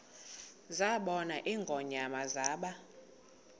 zabona ingonyama zaba